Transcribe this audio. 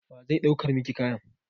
Wa zai ɗaukar miki kayan?